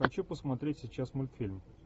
хочу посмотреть сейчас мультфильм